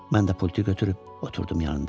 Mən də pultu götürüb oturdum yanında.